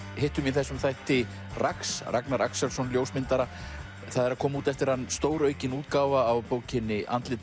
hittum í þessum þætti Ragnar Axelsson ljósmyndara það er að koma út eftir hann stóraukin útgáfa af bókinni andlit